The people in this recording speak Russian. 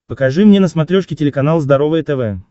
покажи мне на смотрешке телеканал здоровое тв